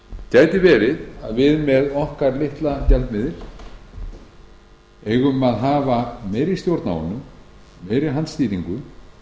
gæti verið að við með okkar litla gjaldmiðil eigum að hafa meiri stjórn á honum meiri handstýringu